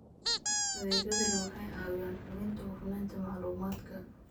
Adeegyadani waxay caawiyaan hubinta hufnaanta macluumaadka.